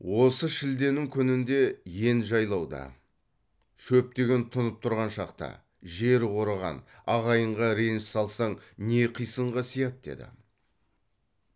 осы шілденің күнінде ен жайлауда шөп деген тұнып тұрған шақта жер қорыған ағайынға реніш салсаң не қисынға сияды деді